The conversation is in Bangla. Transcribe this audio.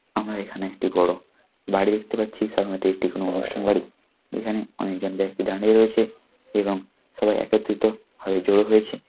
আমার এখানে একটি বড় বাড়ি দেখতে পাচ্ছি সামনে একটি কোন অনুষ্ঠান বাড়ি এখানে অনেকজন ব্যক্তি দাঁড়িয়ে রয়েছে এবং সবাই একত্রিত হয়ে জড়ো হয়েছে।